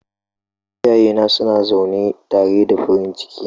Iyayena suna zaune tare da farin ciki.